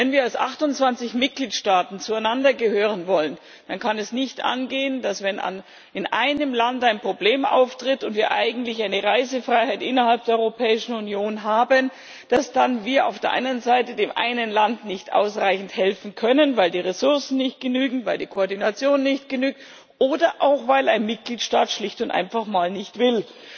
Wenn wir als 28 Mitgliedstaaten zueinander gehören wollen, dann kann es nicht angehen, dass wir, wenn in einem Land ein Problem auftritt und wir eigentlich eine Reisefreiheit innerhalb der Europäischen Union haben, dann auf der einen Seite dem einen Land nicht ausreichend helfen können, weil die Ressourcen nicht genügen, weil die Koordination nicht genügt oder auch weil ein Mitgliedstaat schlicht und einfach mal nicht will.